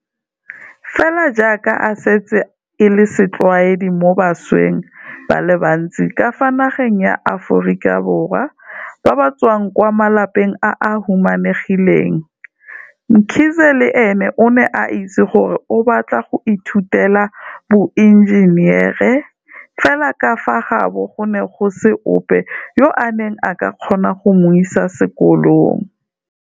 Fela jaaka e setse e le setlwaedi mo bašweng ba le bantsi ka fa nageng ya Aforika Borwa ba ba tswang kwa malapeng a a humanegileng, Mkhize le ene o ne a itse gore o batla go ithutela boenjenere, fela ka fa gaabo go ne go se ope yo a neng a ka kgona go mo isa sekolong.